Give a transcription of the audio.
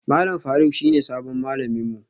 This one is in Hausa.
Malam Faruk shine sabon malamin mu